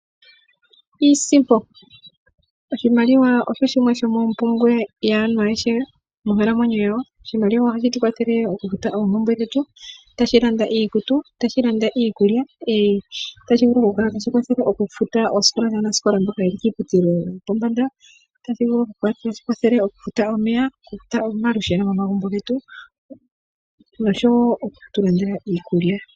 Iisimpo. Oshimaliwa osho shimwe shomoompumbwe yaantu ayehe monkalamwenyo ya wo. Oshimaliwa o ha shi tu kwathele moku futa oompumbwe dhetu ta shi landa iikutu, ta shi landa iikulya ,no ta shivulu oku kala ta shi kwathele okufuta oosikola dhaanasikola mboka ye li kiiputudhilo yopombanda. Ota shi vulu oku kwathela okufuta omeya ,okufuta omalusheno mo magumbo getu noshowo oku tu kandela iikulya.